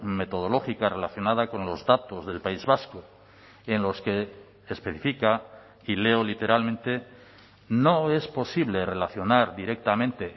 metodológica relacionada con los datos del país vasco en los que especifica y leo literalmente no es posible relacionar directamente